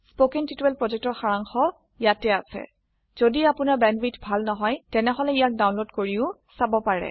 কথন শিক্ষণ প্ৰকল্পৰ সাৰাংশ ইয়াত আছে যদি আপোনাৰ বেণ্ডৱিডথ ভাল নহয় তেনেহলে ইয়াক ডাউনলোড কৰি চাব পাৰে